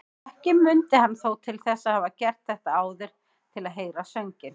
Ekki mundi hann þó til þess að hafa gert þetta áður til að heyra sönginn.